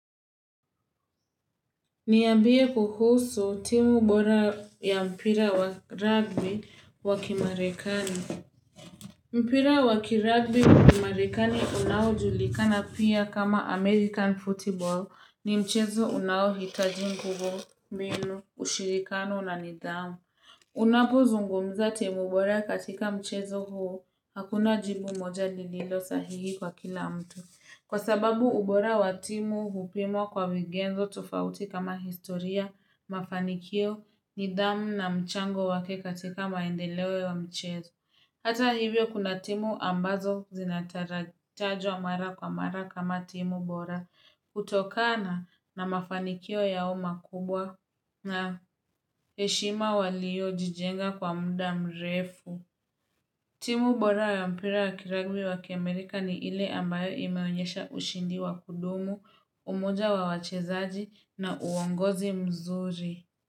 Niambie kuhusu timu ubora ya mpira wa rugby wa kimarekani. Mpira wakirugby wakimarekani unao julikana pia kama American Football ni mchezo unao hitaji mguvu mbinu ushirikano na nidamu. Unapo zungumza timu bora katika mchezo huo hakuna jibu moja lililo sahihi kwa kila mtu. Kwa sababu ubora wa timu hupimwa kwa vigenzo tofauti kama historia, mafanikio, nidhamu na mchango wake katika maendeleo wa mchezo. Hata hivyo kuna timu ambazo zinatarajwa mara kwa mara kama timu bora. Kutokana na mafanikio yao makubwa na heshima waliyo jijenga kwa muda mrefu. Timu bora ya mpira wa kiragbi wa kiamerika ni ile ambayo imeonyesha ushindi wa kudumu, umoja wa wachezaji na uongozi mzuri.